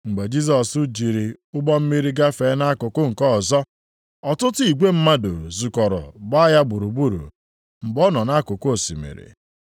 Mgbe Jisọs jiri ụgbọ mmiri gafee nʼakụkụ nke ọzọ, ọtụtụ igwe mmadụ zukọrọ gbaa ya gburugburu mgbe ọ nọ nʼakụkụ osimiri.